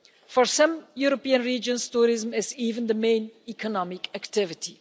For some European regions, tourism is even the main economic activity.